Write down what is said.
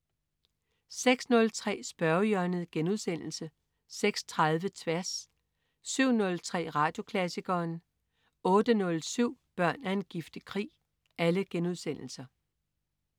06.03 Spørgehjørnet* 06.30 Tværs* 07.03 Radioklassikeren* 08.07 Børn af en giftig krig*